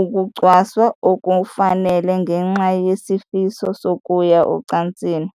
ukucwaswa okungafanele ngenxa yesifiso sokuya ocansini.